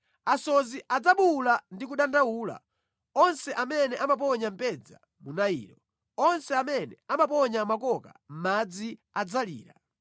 Asodzi adzabuwula ndi kudandaula, onse amene amaponya mbedza mu Nailo; onse amene amaponya makoka mʼmadzi adzalira.